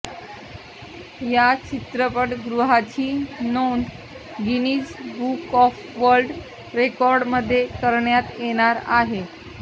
या चित्रपटगृहाची नोंद गिनीज बुक ऑफ वर्ल्ड रेकॉर्डमध्ये करण्यात येणार आहे